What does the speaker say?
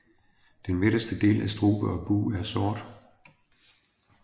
Den midterste del af strube og bug er sort